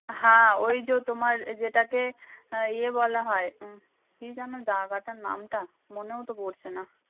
হা ওই যে তোমার যেটাকে আহ ইয়ে বলা হয় কী যেনো জাগাটার নাম টা মনেও তো পড়ছে না ।